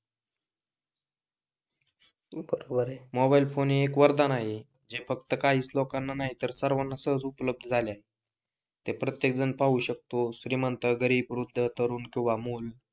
बरोबेर आहे mobile phone एक वरदान आहे, जे फक्त काहीच लोकांना माहित आहे आणि सहज उपलब्ध झालेले आहे. ते प्रत्येक जण पाहू शकतो श्रीमंत गरीब वृद्ध तरुण किंवा मुलं,